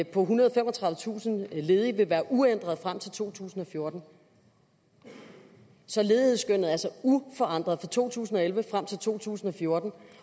på ethundrede og femogtredivetusind ledige vil være uændret frem til to tusind og fjorten så ledighedsskønnet er altså uforandret fra to tusind og elleve frem til to tusind og fjorten